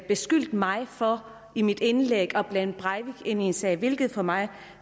beskyldte mig for i mit indlæg at blande breivik ind i sagen hvilket for mig